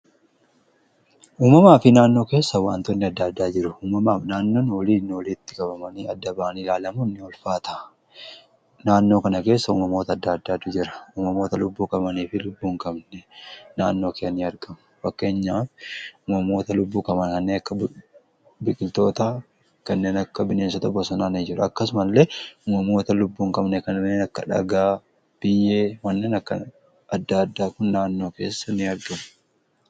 uumamaa fi naannoo keessa waantoonni adda-addaa jiru uumamaaf naannoon oliin ooliitti qabamanii adda-baanii ilaalamuun ni ulfaata . naannoo kana keessa uumamoota adda addaatu jira. uumamoota lubbuu qabanii fi lubbuu hin qabne naannoo keenya in argamu fakkeenyaaf uumamoota lubbuu qaban kaneen akka biqiltoota kanneen akka bineensota bosonaanii jiru akkasuma illee uumamoota lubbuu hin qabnee kanneen akka dhagaa biyyee wannaan akka adda addaa kun naannoo keessa in argamu.